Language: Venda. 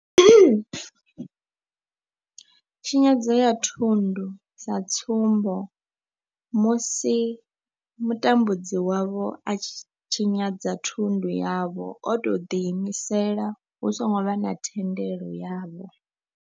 Tshinyadzo ya thundu sa tsumbo, musi mutambudzi wavho a tshi tshinyadza thundu yavho o tou ḓi imisela hu songo vha na thendelo yavho.